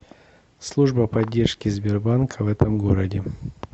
служба поддержки сбербанка в этом городе